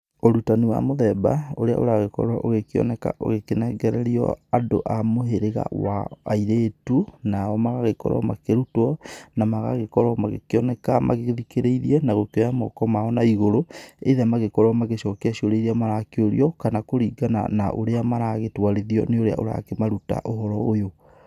Ũrutani wa mũthemba ũrĩa ũragĩkorwo ũgĩkioneka ũkĩnengererio andũ a mũhĩrĩga wa airĩtu, nao magagĩkorwo makĩrutwo na magagĩkorwo makĩoneka magĩthikĩrĩirie, na gũkĩoya moko mao naigũrũ either magĩkorwo magĩcokia ciũria iria marakĩũrio kana kũringana na ũrĩa maragĩtwarithio nĩ ũrĩa ũrakĩmaruta ũhoro ũyũ.